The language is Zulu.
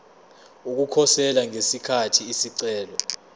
ukukhosela ngesikhathi isicelo